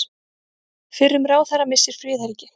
Fyrrum ráðherra missir friðhelgi